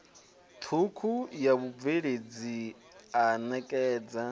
thukhu ya vhubveledzi a nekedza